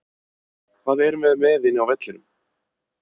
Hvað erum við með inni á vellinum?